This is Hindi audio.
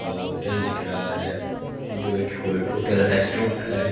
अह होटल दिख रहा है ये जो एक हो टोटल रेस्टोरेंट है।